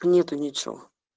нету ничего